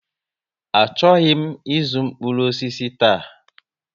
A chọghị m zuu mkpụrụ osisi taa